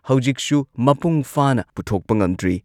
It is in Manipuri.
ꯍꯧꯖꯤꯛꯁꯨ ꯃꯄꯨꯡ ꯐꯥꯅ ꯄꯨꯊꯣꯛꯄ ꯉꯝꯗ꯭ꯔꯤ꯫